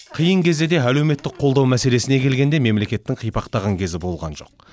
қиын кезде де әлеуметтік қолдау мәселесіне келгенде мемлекеттің қипақтаған кезі болған жоқ